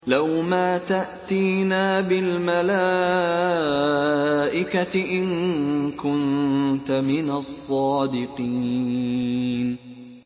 لَّوْ مَا تَأْتِينَا بِالْمَلَائِكَةِ إِن كُنتَ مِنَ الصَّادِقِينَ